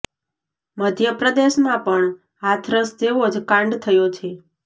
મધ્ય પ્રદેશમાં પણ હાથરસ જેવો જ કાંડ થયો છે